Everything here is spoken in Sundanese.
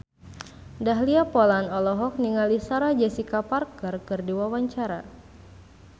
Dahlia Poland olohok ningali Sarah Jessica Parker keur diwawancara